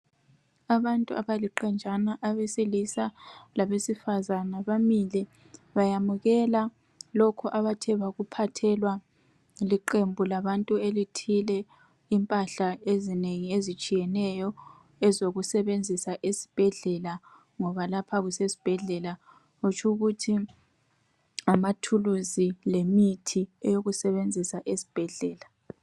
Abantu abaliqenjana abesilisa labesifazana bamile bayamukela lokhu abathe bakuphathelwa liqembu labantu elithile, impahla ezinengi ezitshiyeneyo ezokusebenzisa esibhedlela ngoba lapha kusesibhedlela. Kutshukuthi ngamathuluzi lemithi eyokusebenzisa esibhedlela.